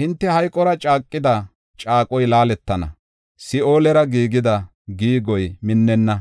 Hinte hayqora caaqida caaqoy laaletana; Si7oolera giigida giigoy minnenna.